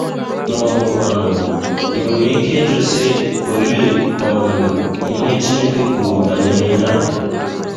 Ma ọ bụkwanụ,, i nwere ike ịjụ sị, ‘ Olee um ihe Chineke kwuru banyere ihe a? ’